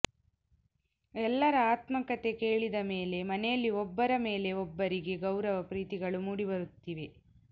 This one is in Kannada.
ಎಲ್ಲರ ಆತ್ಮಕಥೆ ಕೇಳಿದ ಮೇಲೆ ಮನೆಯಲ್ಲಿ ಒಬ್ಬರ ಮೇಲೆ ಒಬ್ಬರಿಗೆ ಗೌರವ ಪ್ರೀತಿಗಳು ಮೂಡಿಬರುತ್ತಿವೆ